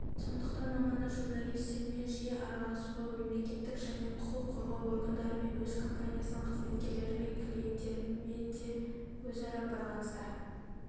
сондықтан маманы журналистермен жиі араласуы мемлекеттік және құқық қорғау органдарымен өз компаниясының қызметкерлері мен клиенттерімен де өзара байланыста